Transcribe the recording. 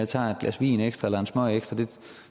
tager et glas vin ekstra eller en smøg ekstra jeg